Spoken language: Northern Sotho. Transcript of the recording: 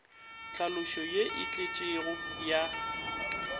tlhaloso ye e tletšego ya